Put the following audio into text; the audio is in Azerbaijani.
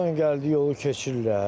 Hardan gəldi yolu keçirlər.